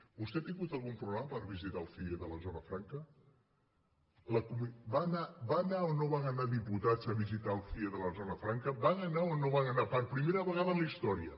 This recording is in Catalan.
vostè ha tingut algun problema per visitar el cie de la zona franca van anar o no van anar diputats a visitar el cie de la zona franca van anar·hi o no van anar·hi per primera vegada a la història